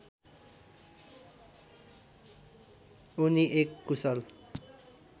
उनी एक कुशल